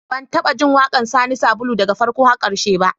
Ban taɓa jin waƙar Sani Sabulu daga farko har ƙarshe ba